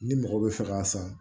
Ni mɔgɔ bɛ fɛ k'a san